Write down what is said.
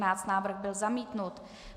Návrh byl zamítnut.